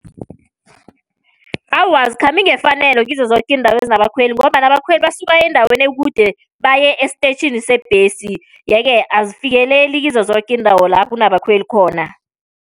Awa, azikhambi ngefanelo kizo zoke iindawo ezinabakhweli, ngombana abakhweli basuka endaweni ekude baye esiteyitjhini sebhesi. Ye-ke azifikeleli kizo zoke iindawo lapho kunabakhweli khona.